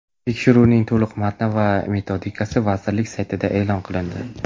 Tekshiruvning to‘liq matni va metodikasi vazirlik saytida e’lon qilindi.